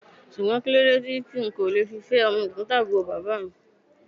Ṣùgbọ́n kíló dé tí n kò le fi fẹ́ ọmọ ẹ̀gbọ́ntàbúrò bàbá mi?